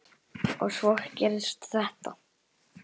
Og svo gerist þetta.